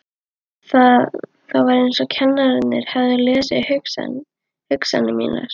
Það var eins og kennararnir hefðu lesið hugsanir mínar.